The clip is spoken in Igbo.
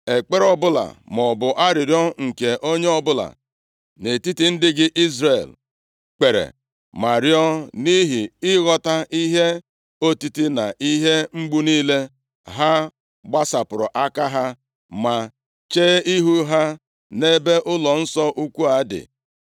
ekpere ọbụla maọbụ arịrịọ nke onye ọbụla nʼetiti ndị gị Izrel kpere ma rịọọ, nʼihi ịghọta ihe otiti na ihe mgbu niile, ha gbasapụ aka ha, ma chee ihu ha nʼebe ụlọnsọ ukwu dị;